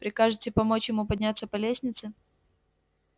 прикажете помочь ему подняться по лестнице